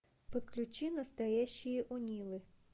подключи настоящие онилы